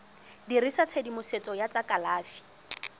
dirisa tshedimosetso ya tsa kalafi